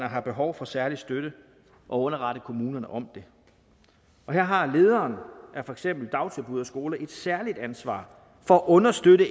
har behov for særlig støtte og underrette kommunen om det her har lederen af for eksempel dagtilbud og skoler et særligt ansvar for at understøtte